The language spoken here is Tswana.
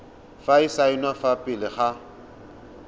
go saenwa fa pele ga